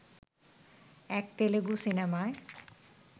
এক তেলেগু সিনেমায়